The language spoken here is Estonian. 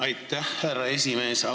Aitäh, härra esimees!